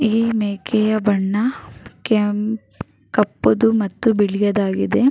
ಈ ಮೇಕೆಯ ಬಣ್ಣ ಕೆಂಪ್ ಕಪ್ಪುದು ಮತ್ತು ಬಿಳಿಯದಾಗಿದೆ.